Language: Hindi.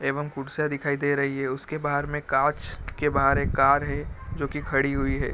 एवं कुर्सियां दिखाई दे रही हैं उसके बाहर में कांच के बाहर एक कार है जो की खड़ी हुई है |